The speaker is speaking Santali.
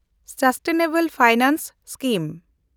sustainable finance scheme